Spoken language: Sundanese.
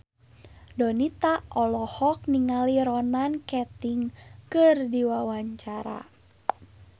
Donita olohok ningali Ronan Keating keur diwawancara